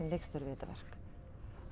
þetta verk